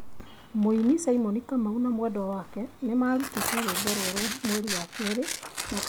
Mũini Simon Kamau na mwendwa wake nĩmarutĩte rwĩmbo rwerũ mweri wa kerĩ mwaka wa ngiri igĩrĩ na mĩrongo ĩrĩ na ĩrĩ